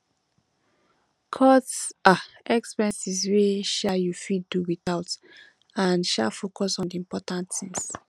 cut um expenses wey um you fit do without and um focus on di important things